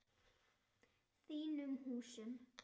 Þínum húsum?